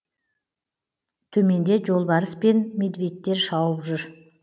төменде жолбарыс пен медведьтер шауып жүр